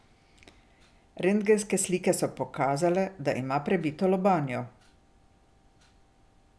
Rentgenske slike so pokazale, da ima prebito lobanjo.